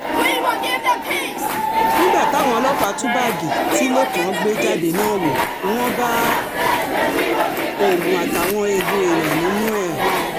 nígbà táwọn ọlọ́pàá tú báàgì tí lẹ́kàn gbé jáde náà wò wọ́n um bá oògùn àtàwọn eegun èèyàn nínú ẹ̀ um